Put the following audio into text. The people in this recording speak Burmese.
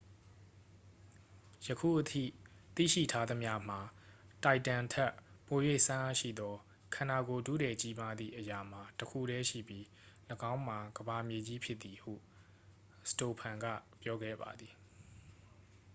ယခုအထိသိရှိထားသမျှမှာ တိုင်တမ်ထက် ပို၍စွမ်းအားရှိသော ခန္ဓာကိုယ်ထုထည်ကြီးမားသည့်အရာမှာ တစ်ခုတည်းရှိပြီး ၎င်းမှာ ကမ္ဘာမြေကြီးဖြစ်သည် ဟု စတိုဖန် က ပြောခဲ့ပါသည်